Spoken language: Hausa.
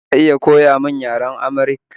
Za ka iya koya min yaren Amharik?